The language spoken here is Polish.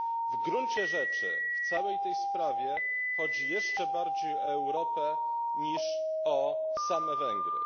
W gruncie rzeczy w całej tej sprawie chodzi jeszcze bardziej o Europę niż o same Węgry.